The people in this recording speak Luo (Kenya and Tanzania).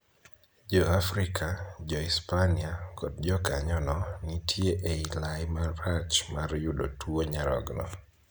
Jo Afrika, jo Hispania, kod jokanyono, nitie e lai marach mar yudo tuo nyarogno.